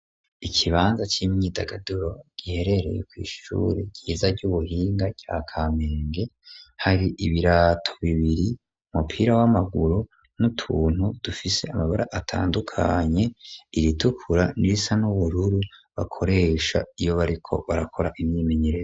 ikibanza cy'imyidagaduro giherereye ku ishuri gyiza ry'ubuhinga cya kamenge hari ibirato bibiri umupira w'amaguru n'utuntu dufise amabara atandukanye iritukura nirisa n'ubururu bakoresha iyo bariko barakora imyimenyeree